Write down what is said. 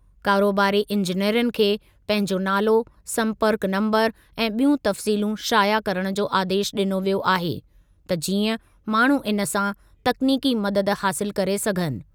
कारोबारी इंजेनरनि खे पंहिंजो नालो, संपर्कु नंबरु ऐं ॿियूं तफ़्सीलूं शाया करण जो आदेशु ॾिनो वियो आहे, त जीअं माण्हू इन सां तकनीकी मददु हासिलु करे सघनि।